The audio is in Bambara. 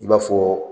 I b'a fɔ